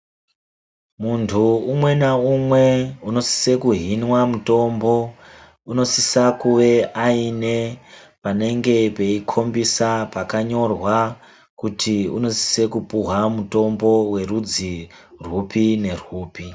Munhu umwe naumwe unosise kuhinwa mutombo unosise kuve aine panenge peikhombisa pakanyorwa kuti unosise kupuwa mutombo werudzi rwupi nerwupi.